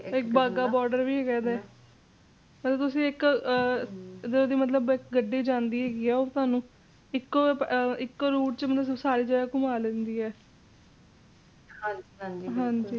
Bagha border ਵੀ ਹੈਗਾ ਤੇ ਅਗਰ ਤੁਸੀਂ ਇਕ ਜਿੰਦਾ ਕ ਮਤਲੱਬ ਗੱਡੀ ਜਾਂਦੀ ਹੈਗੀ ਏ ਉਹ ਥੋਨੂੰ ਇਕੋ ਇਕੋ Route ਚ ਮਤਲਬ ਕਿ ਸਾਰੀ ਜਗਾਹ ਘੁੰਮਾ ਲੈਂਦੀ ਏ